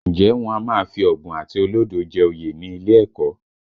Ǹjẹ́ wọn a máa fi ọ̀bùn àti olódo jẹ oyè ní ilé ẹ̀kọ́?